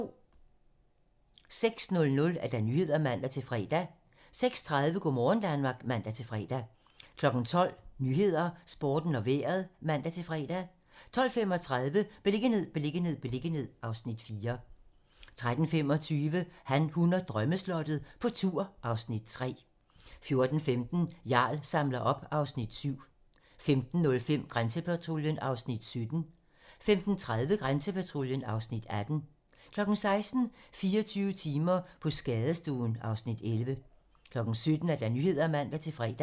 06:00: Nyhederne (man-fre) 06:30: Go' morgen Danmark (man-fre) 12:00: 12 Nyhederne, Sporten og Vejret (man-fre) 12:35: Beliggenhed, beliggenhed, beliggenhed (Afs. 4) 13:25: Han, hun og drømmeslottet - på tur (Afs. 3) 14:15: Jarl samler op (Afs. 7) 15:05: Grænsepatruljen (Afs. 17) 15:30: Grænsepatruljen (Afs. 18) 16:00: 24 timer på skadestuen (Afs. 11) 17:00: 17 Nyhederne (man-fre)